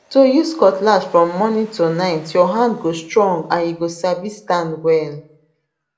to use cutlass from morning to night your hand go strong and you go sabi stand well